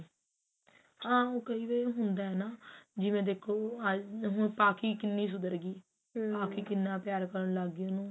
ਹਾਂ ਹੁਣ ਕਈ ਵਾਰੀ ਹੁੰਦਾ ਹੈ ਨਾ ਜਿਵੇਂ ਦੇਖੋ ਅੱਜ ਪਕੀ ਕੀਨੀ ਸੁਧਰਗੀ ਪਾਖੀ ਕਿੰਨਾ ਪਿਆਰ ਕਰਨ ਲੱਗ ਗਈ ਉਹਨੂੰ